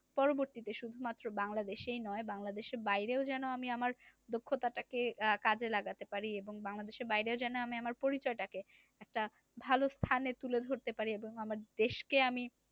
পরবর্তীতে শুধুমাত্র বাংলাদেশেই নয় বাংলাদেশের বাইরে ও যেন আমি আমার দক্ষতাটাকে কাজে লাগাতে পারি এবং বাংলাদেশের বাইরেও যেন আমি আমার পরিচয় টাকে একটা ভালো স্থানে তুলে ধরতে পারি এবং আমার দেশকে আমি